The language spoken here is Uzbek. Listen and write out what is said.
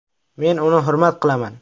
Men uni hurmat qilaman.